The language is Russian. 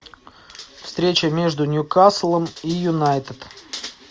встреча между ньюкаслом и юнайтед